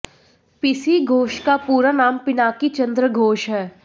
PC Ghosh का पूरा नाम पिनाकी चंद्र घोष है